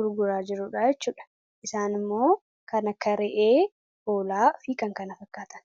gurguraa jiru jechuudha isaan immoo kan akka ra'ee hoolaa fi kan kana fakkaatan